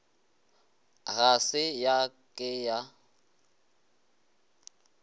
ga se ya ke ya